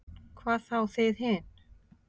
Hvað þá þið hin.